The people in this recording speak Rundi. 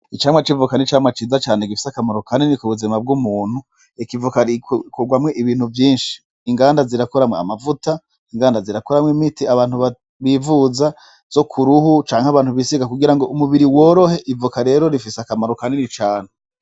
Icamwa c'ivoka ni camwa ciza cane gifis'akamaro kanini k'ubuzima bw'umuntu , ek'ivoka rikugwamwo ibintu vyinshi . Inganda zirakora amavuta , inganda zirakugwamw'imiti abantu bivuza zo k'urukoba n'abantu bisiga kugira umubiri worohe, ivoka rero rifis'akamaro kanini cane.